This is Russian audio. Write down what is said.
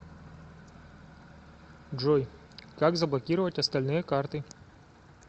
джой как заблокировать остальные карты